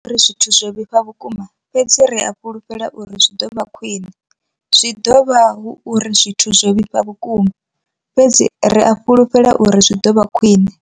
zwithu zwo vhifha vhukuma, fhedzi ri a fhulufhela uri zwi ḓo vha khwiṋe. Zwi dovha hu uri zwithu zwo vhifha vhukuma, fhedzi ri a fhulufhela uri zwi ḓo vha khwine.